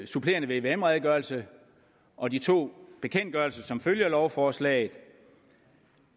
supplerende vvm redegørelse og de to bekendtgørelser som følger lovforslaget